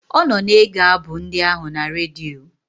Ọ nọ na-ege abụ ndị ahụ na redio.